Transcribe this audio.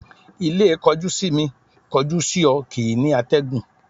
Ilé kọjú-sí-mi, kọjú-sí-ọ kìí ní àtẹ̀gùn